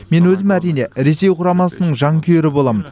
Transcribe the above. мен өзім әрине ресей құрамасының жанкүйері боламын